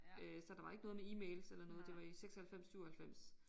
Øh så der var ikke noget med e-mails eller noget det var i 96 97